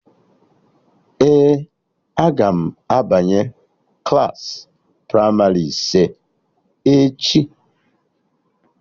Ee, aga m abanye klaasị pramarị ise echi